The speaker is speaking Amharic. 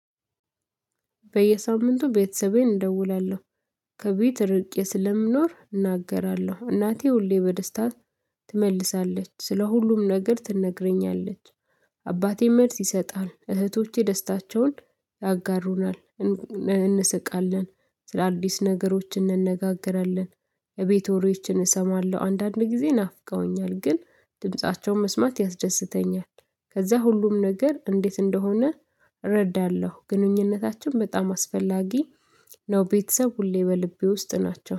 በየሳምንቱ ቤተሰቤን እደውላለሁ ከቤት እርቄ ስለምኖር እናገራለሁ እናቴ ሁሌ በደስታ ትመልሳለች ስለ ሁሉም ነገር ትነግረኛለች አባቴም መልስ ይሰጣል እህቶቼ ደስታቸውን ያጋሩናል እንስቃለን ስለአዲስ ነገሮች እንነጋገራለን የቤት ወሬዎችን እሰማለሁ አንዳንድ ጊዜ ናፍቀውኛል ግን ድምፃቸው መስማት ያስደስተኛል ከዛ ሁሉም ነገር እንዴት እንደሆነ እረዳለሁ ግንኙነታችን በጣም አስፈላጊ ነው ቤተሰብ ሁሌ በልቤ ውስጥ ናቸው።